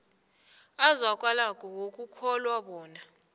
azwakalako wokukholwa bona